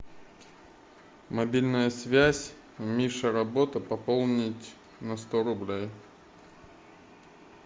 мобильная связь миша работа пополнить на сто рублей